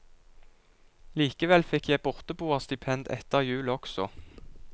Likevel fikk jeg borteboerstipend etter jul også.